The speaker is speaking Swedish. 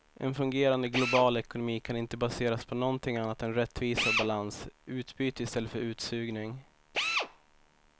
En fungerande global ekonomi kan inte baseras på någonting annat än rättvisa och balans, utbyte i stället för utsugning.